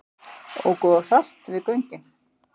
Óku of hratt við göngin